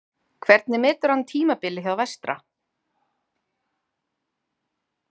Hvernig metur hann tímabilið hjá Vestra?